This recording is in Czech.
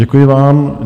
Děkuji vám.